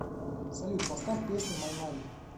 салют поставь песня май мани